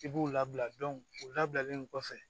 I b'u labila u labilalen kɔfɛ